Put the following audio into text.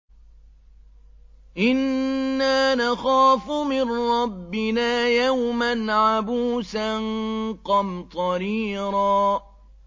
إِنَّا نَخَافُ مِن رَّبِّنَا يَوْمًا عَبُوسًا قَمْطَرِيرًا